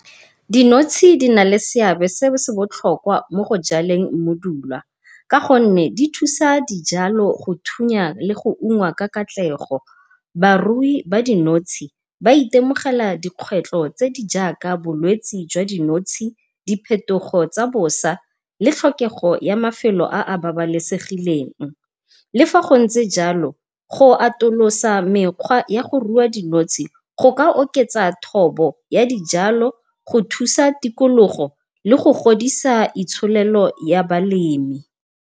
Dinotshe di na le seabe se se botlhokwa mo go jaleng mmodulwa, ka gonne di thusa dijalo go thunya le go ungwa ka katlego. Barui ba dinotshe ba itemogela dikgwetlho tse di jaaka bolwetsi jwa dinotshe, diphetogo tsa bosa le tlhokego ya mafelo a a babalesegileng. Le fa go ntse jalo go atolosa mekgwa ya go rua dinotshe go ka oketsa thobo ya dijalo go thusa tikologo le go godisa itsholelo ya balemi.